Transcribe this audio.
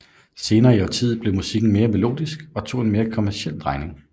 Senere i årtiet blev musikken mere melodisk og tog en mere kommerciel drejning